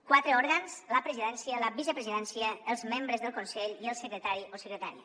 quatre òrgans la presidència la vicepresidència els membres del consell i el secretari o secretària